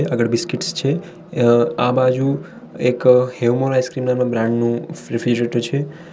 આગળ બિસ્કીટ્સ છે આ બાજુ એક હેવમોર આઇસ્ક્રીમ નામના બ્રાન્ડ નું રેફ્રિજરેટર છે.